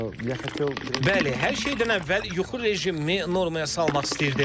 Bəli, hər şeydən əvvəl yuxu rejimimi normaya salmaq istəyirdim.